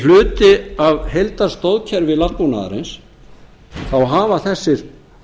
sem hluti af heildarstoðkerfi landbúnaðarins þá hafa þessir